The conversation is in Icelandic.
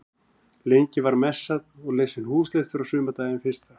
Lengi var messað og lesinn húslestur á sumardaginn fyrsta.